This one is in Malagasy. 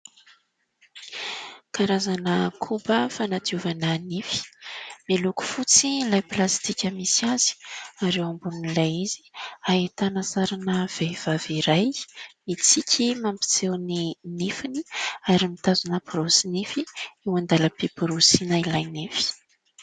Karazana koba fanadiovana nify, miloko fotsy ilay plastika misy azy ary eo ambonin'ilay izy ahitana sarina vehivavy iray mitsiky mampiseho ny nifiny ary mitazona borosy nify eo andalam-piborosiana ilay nify.